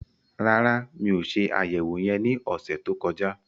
Rárá, mi ò se àyẹ̀wò yẹn ní ọ̀sẹ̀ tó kọjá